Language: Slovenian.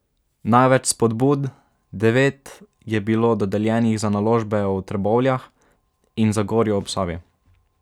Največ spodbud, devet, je bilo dodeljenih za naložbe v Trbovljah in Zagorju ob Savi.